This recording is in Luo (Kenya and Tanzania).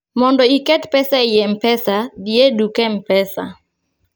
mondo iket pesa ei mpesa dhi e duk mpesa